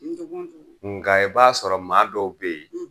Nga i b'a sɔrɔ maa dɔw be yen